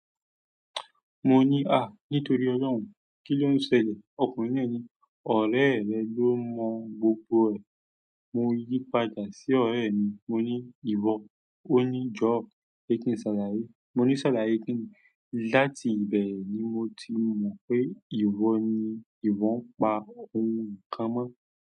Mo ní, "à, nítorí Ọlọ́run, kí ló ń ṣẹlẹ̀?" Ọkùnrin náà ní, "ọ̀rá rẹ ló mọ́ gbogbo ẹ̀." Mo yípadà sí ọ̀re mi, mo ní, "ìwọ?" Ó ní, "job, ẹ kín ṣàlàyé." Mo ní, "ṣàlàyé kí ni?" láti ibe ni moti mo pe iwo ni iwo pa mukan mọ.